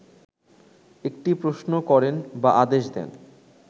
একটি প্রশ্ন করেন বা আদেশ দেন